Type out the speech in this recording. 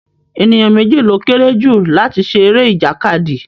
Ènìyàn méjì ló kéré jù láti ṣe eré ìjàkadì